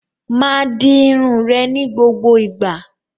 Máa di irun rẹ ni gbogbo igba!